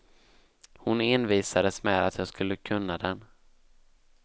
Hon envisades med att jag skulle kunna den.